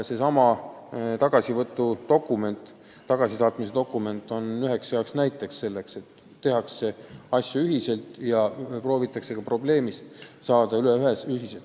Seesama tagasivõtu või tagasisaatmise dokument on hea näide sellest, et asju tehakse ühiselt ja ka probleemist proovitakse ühiselt üle saada.